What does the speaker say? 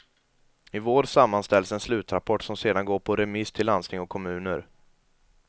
I vår sammanställs en slutrapport som sedan går på remiss till landsting och kommuner.